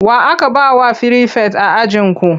Wa aka ba wa firifet a ajinku?